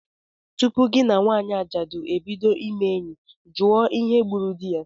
Tupu gị na nwanyị ajadu ebido ime enyi, jụọ ihe gburu di ya!